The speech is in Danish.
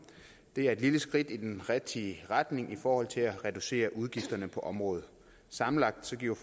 det er et lille skridt i den rigtige retning i forhold til at reducere udgifterne på området sammenlagt giver